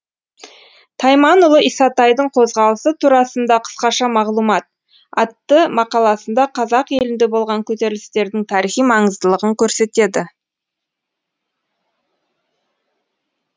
тайманұлы исатайдың қозғалысы турасында қысқаша мағлұмат атты мақаласында қазақ елінде болған көтерілістердің тарихи маңыздылығын көрсетеді